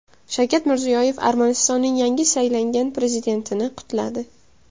Shavkat Mirziyoyev Armanistonning yangi saylangan prezidentini qutladi.